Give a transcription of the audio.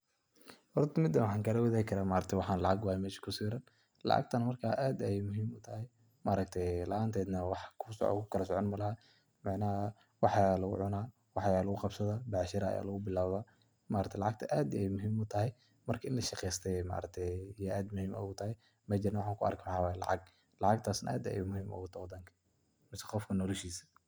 Horta mida waxan kala wadhagi kara maaragti waxan lacag waye mesha kusawaran, lacagtana marka aad ayay muhim utahay maaragti la anted wax kukala socon malaha, macna wax aya lugucuna, wax aya lugu qabsadha, bacshira aya lugu bilawda, maaragta lacagta ad ayay muhim utahay marka in lashaqeysta yey aad muhim ugatahay, meshan waxan kuarko waxawayo lacag, lacagtasna aad ay muhim ugatahay wadanka masna qoofka nolashisa.